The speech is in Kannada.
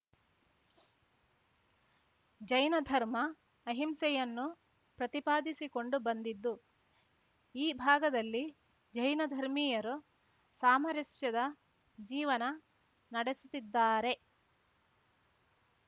ಜೈನಧರ್ಮ ಅಹಿಂಸೆಯನ್ನು ಪ್ರತಿಪಾದಿಸಿಕೊಂಡು ಬಂದಿದ್ದು ಈ ಭಾಗದಲ್ಲಿ ಜೈನಧರ್ಮೀಯರು ಸಾಮರಸ್ಯದ ಜೀವನ ನಡೆಸುತ್ತಿದ್ದಾರೆ